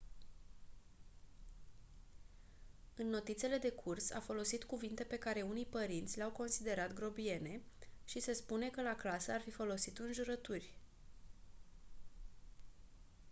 în notițele de curs a folosit cuvinte pe care unii părinți le-au considerat grobiene și se spune că la clasă ar fi folosit înjurături